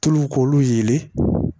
Tulu k'olu yelen